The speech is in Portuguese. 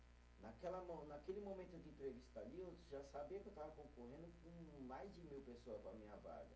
Naquela mo, naquele momento de entrevista ali, eu já sabia que eu estava concorrendo com mais de mil pessoas para a minha vaga.